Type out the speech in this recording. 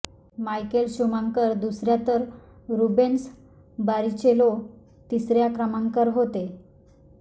Michael Schumacher दुसऱ्या तर Rubens Barrichello तिसऱ्या क्रमांकावर होते